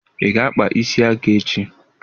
Ị ga-akpa isi aka echi!